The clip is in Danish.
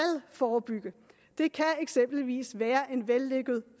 forebygge det kan eksempelvis være en vellykket